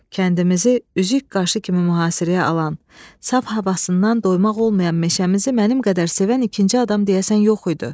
Kəndimizi üzük qaşı kimi mühasirəyə alan, saf havasından doymaq olmayan meşəmizi mənim qədər sevən ikinci adam deyəsən yox idi.